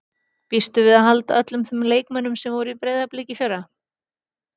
Býstu við að halda öllum þeim leikmönnum sem voru í Breiðablik í fyrra?